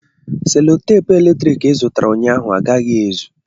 Selotepu eletrik ị zụtara ụnyaahụ agaghị ezu